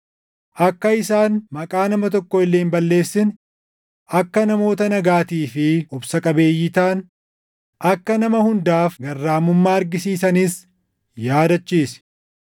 akka isaan maqaa nama tokko illee hin balleessine, akka namoota nagaatii fi obsa qabeeyyii taʼan, akka nama hundaaf garraamummaa argisiisanis yaadachiisi.